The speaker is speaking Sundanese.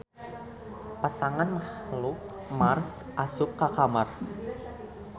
Pasangan mahluk Mars asup ka kamar